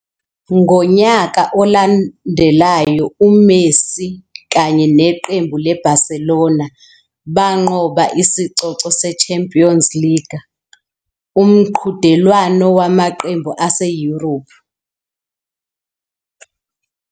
Ngonyaka olandelayo, uMessi kanye neqembu leBarcelona banqoba isicoco seChampions League, umqhudelwano wamaqembu ase-Europe.